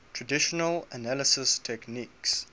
traditional analysis techniques